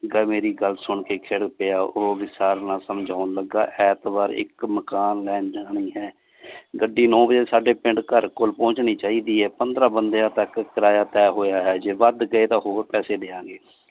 ਮੇਰੀ ਗੱਲ ਸੁਣਕੇ ਖਿੜ ਪਿਆ ਉਹ ਵਿਸਾਰ ਨਾਂ ਸਮਜੋਨ ਲਗਾ ਐਂਤਵਾਰ ਇਕ ਮਕਾਨ ਲੈਣ ਜਾਣੀ ਹੈ ਗੱਡੀ ਨੋਂ ਬਜੇ ਸਾਡੇ ਪਿੰਡ ਘਰ ਕੋਲ ਪਹੁੰਚਣੀ ਚਾਹੀਦੀ ਹੈ ਪੰਦਰਾਂ ਬੰਦਿਆਂ ਤਕ ਕਿਰਾਇਆ ਤਹ ਹੋਇਆ ਹੈ ਜੇ ਬਦ ਗਏ ਤਾਂ ਹੋਰ ਪੈਸੇ ਦਿਆਂਗੇ।